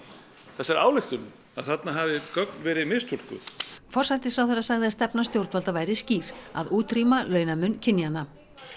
þessari ályktun að þarna hafi gögn verið mistúlkuð forsætisráðherra sagði að stefna stjórnvalda væri skýr að útrýma launamun kynjanna